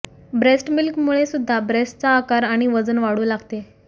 breast milk मुळे सुद्धा ब्रेस्टचा आकार आणि वजन वाढू लागते